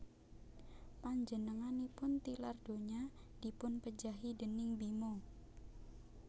Panjenenganipun tilardonya dipunpejahi déning Bima